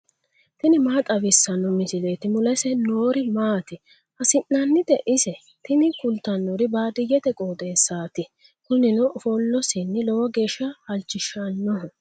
tini maa xawissanno misileeti ? mulese noori maati ? hiissinannite ise ? tini kultannori baadiyyete qooxeessaati. kunino ofollosinni lowo geeshsha halchishannoho.